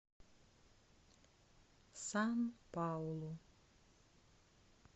сан паулу